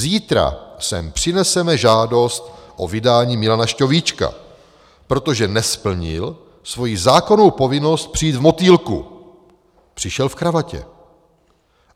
Zítra sem přineseme žádost o vydání Milana Šťovíčka, protože nesplnil svoji zákonnou povinnost přijít v motýlku, přišel v kravatě.